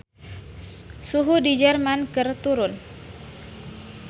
Suhu di Jerman keur turun